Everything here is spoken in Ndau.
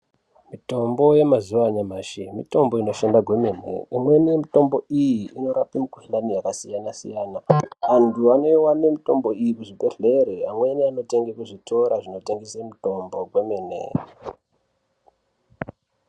Mitombo yemazuwa enyamashi mitombo inoshanda kwemene, imweni yemitombo iyi inorape mikhuhlani yakasiyanasiyana, antu anowane mitombo iyi kuzvibhehlera amweni anotenga kuzvitoro zvinotengese mitombo zvemene.